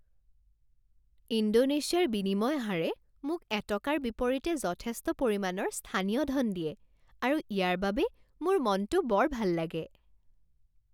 ইণ্ডোনেছিয়াৰ বিনিময় হাৰে মোক এটকাৰ বিপৰীতে যথেষ্ট পৰিমাণৰ স্থানীয় ধন দিয়ে আৰু ইয়াৰ বাবে মোৰ মনটো বৰ ভাল লাগে।